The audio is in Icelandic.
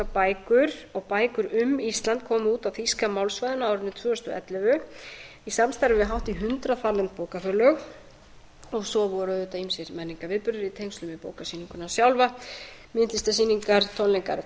bækur og bækur um ísland komu út á þýska málsvæðinu á árinu tvö þúsund og ellefu í samstarfi við hátt í hundrað þarlend bókafélög og svo voru auðvitað ýmsir menningarviðburðir í tengslum við bóka sjálfa myndlistarsýningar tónleikar